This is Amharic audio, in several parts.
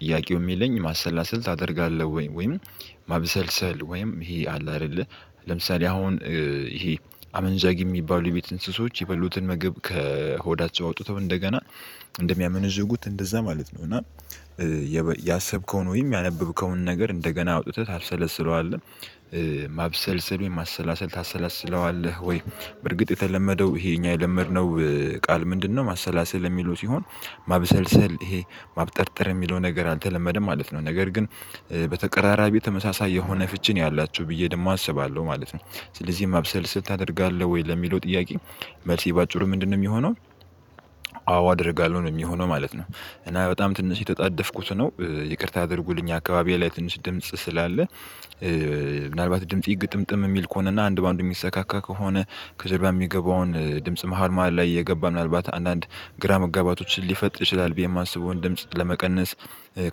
ጥያቄው የሚለኝ ማሰላሰል ታደርጋለህ ወይም ማብሰልሰል ወይም ይሄ አለ አይደለ ለምሳሌ አሁን ይሄ አመንዛጊ የሚባሉ የቤት እንስሶች የበሉትን ምግብ ከሆዳቸው አውጥተው እንደገና እንደሚያመነዥጉት እንደዛ ማለት ነው። እና ያሰብከውን ወይም ያነበብከውን ነገር እንደገና አውጥተህ ታብሰለስለዋለህ። ማብሰልሰል ወይም ማሰላሰል ታሰላስለዋለህ ወይ በርግጥ የተለመደው ይሄ እኛ የለመድነው ቃል ምንድነው? ማሰላሰል የሚሉት ይሆን ማብሰልሰል ይሄ ማብጠርጠር የሚለው ነገር አልተለመደም ማለት ነው። ነገር ግን በተቀራራቢ ተመሳሳይ የሆነ ፍቺ ነው ያላቸው ብዬ ደግሞ አስባለሁ ማለት ነው። ስለዚህም ማብሰልሰል ታደርጋለህ ወይ ለሚለው ጥያቄ መልሴ በአጭሩ ምንድነው የሚሆነው? አዎ አደርጋለሁ ነው የሚሆነው ማለት ነው። እና በጣም ትንሽ የተጣደፍኩት ነው ይቅርታ አድርጉልኝ አካባቢዬ ላይ ትንሽ ድምጽ ስላለ። ምናልባት ድምፄ ግጥምጥም የሚል ከሆነና አንድ በአንድ የሚሰካካ ከሆነ ከጀርባ የሚገባውን ድምጽ መሃል መሃል ላይ እየገባ ምናልባት አንዳንድ ግራ መጋባቶችን ሊፈጥር ይችላል ብዬ የማስበውን ድምጽ ለመቀነስ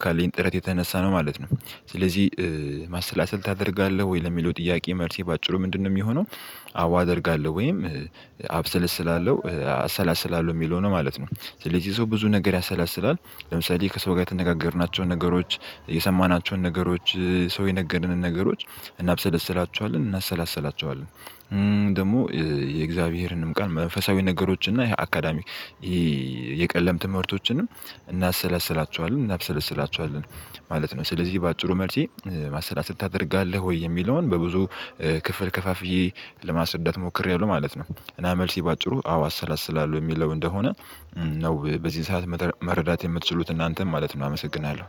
ካለኝ ጥረት የተነሳ ነው ማለት ነው። ስለዚህ ማሰላሰል ታደርጋለህ ወይ ለሚለው ጥያቄ መልሴ በአጭሩ ምንድነው የሚሆነው? አዎ አደርጋለሁ ወይም አብሰለስላለሁ አሰላስላለሁ የሚለው ነው ማለት ነው። ስለዚህ ሰው ብዙ ነገር ያሰላስላል። ለምሳሌ ከሰው ጋር የተነጋገርናቸውን ነገሮች የሰማናቸውን ነገሮች ሰው የነገርንን ነገሮች እናብሰለስላቸዋለን እናሰላስላቸዋለን ደግሞ የእግዚአብሔርንም ቀን መንፈሳዊ ነገሮች እና ይሄ አካዳሚክ የቀለም ትምህርቶችንም እናሰለስላቸዋለን እናብሰለስላቸዋለን ማለት ነው። ስለዚህ በአጭሩ መልሴ ማሰላሰል ታደርጋለህ ወይ የሚለውን በብዙ ክፍል ከፋፍዬ ለማስረዳት ሞክሬያለሁ ማለት ነው። እና መልሴ በአጭሩ አዎ አሰላስላለሁ የሚለው እንደሆነ ነው በዚህ ሰዓት መረዳት የምትችሉት እናንተም ማለት ነው አመሰግናለሁ